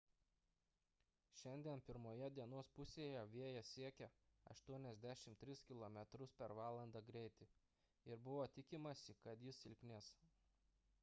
šiandien pirmoje dienos pusėje vėjas siekė 83 km/val. ir buvo tikimasi kad jis silpnės